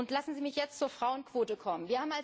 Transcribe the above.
Lassen Sie mich jetzt zur Frauenquote kommen.